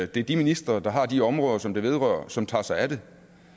det er de ministre der har de områder som det vedrører som tager sig af det